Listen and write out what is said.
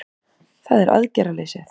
Það er aðgerðaleysið